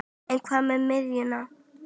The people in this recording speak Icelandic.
En hvað með miðjuna?